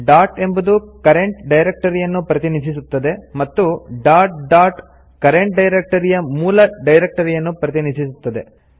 dot ಎಂಬುದು current ಡೈರೆಕ್ಟರಿಯನ್ನು ಪ್ರತಿನಿಧಿಸುತ್ತದೆ ಮತ್ತು ಡಾಟ್ ಡಾಟ್ ಕರೆಂಟ್ ಡೈರೆಕ್ಟರಿಯ ಮೂಲ ಡೈರೆಕ್ಟರಿಯನ್ನು ಪ್ರತಿನಿಧಿಸುತ್ತದೆ